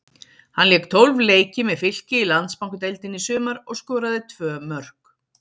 Hann lék tólf leiki með Fylki í Landsbankadeildinni í sumar og skoraði tvö mörk.